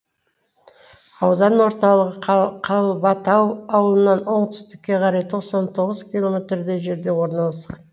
аудан орталығы қалбатау ауылынан оңтүстікке қарай тоқсан тоғыз километрдей жерде орналасқан